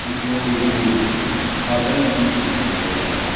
ई कोई हमे बादल भी दिखाई दे रहा है।